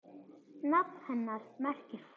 Nafn hennar merkir frú.